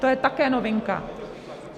To je také novinka.